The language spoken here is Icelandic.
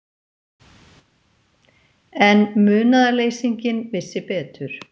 En munaðarleysinginn vissi betur.